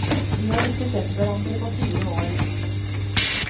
De har ikke sett hverandre på fire år.